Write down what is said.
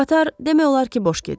Qatar demək olar ki, boş gedir.